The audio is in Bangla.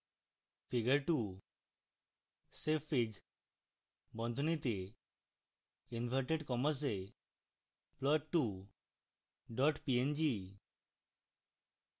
figure 2